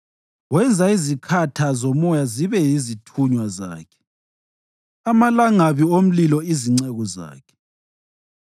Wenza izikhatha zomoya zibe yizithunywa zakhe, amalangabi omlilo izinceku zakhe.